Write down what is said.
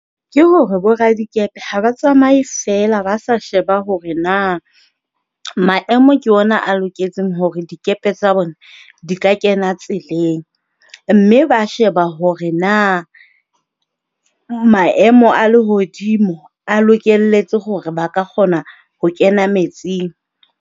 Ke hore bo radikepe ha ba tsamaye feela ba sa sheba hore na maemo ke ona a loketseng hore dikepe tsa bona di ka kena tseleng. Mme ba sheba hore na maemo a lehodimo a lokelletse hore ba ka kgona ho kena metsing.